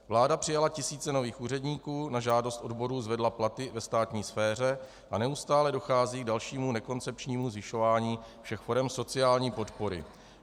Vláda přijala tisíce nových úředníků, na žádost odborů zvedla platy ve státní sféře a neustále dochází k dalšímu nekoncepčnímu zvyšování všech forem sociální podpory.